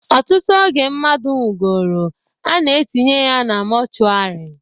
Ọtụtụ oge mmadu nwugoro, a na-etinye ya na mọchwarị